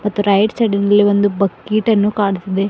ಮತ್ತು ರೈಟ್ ಸೈಡಿನಲ್ಲಿ ಒಂದು ಬಕಿಟನ್ನು ಕಾಣುತ್ತಿದೆ.